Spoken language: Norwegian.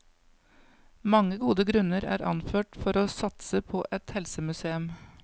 Mange gode grunner er anført for å satse på et helsemuseum.